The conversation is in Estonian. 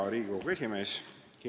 Hea Riigikogu esimees!